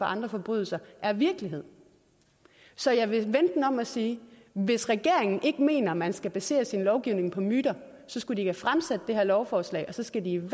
andre forbrydelser er virkelighed så jeg vil vende den om og sige hvis regeringen ikke mener at man skal basere sin lovgivning på myter så skulle de ikke have fremsat det her lovforslag og så skal de